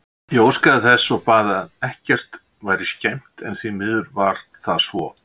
Ég óskaði þess og bað að ekkert væri skemmt en því miður var það svo.